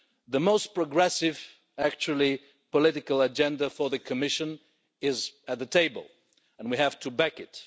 The most progressive, actually, political agenda for the Commission is at the table, and we have to back it.